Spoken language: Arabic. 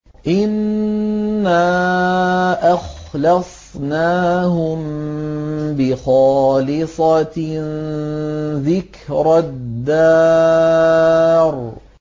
إِنَّا أَخْلَصْنَاهُم بِخَالِصَةٍ ذِكْرَى الدَّارِ